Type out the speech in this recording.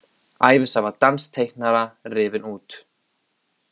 Ævisaga dansks teiknara rifin út